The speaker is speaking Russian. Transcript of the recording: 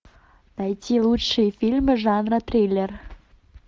найти лучшие фильмы жанра триллер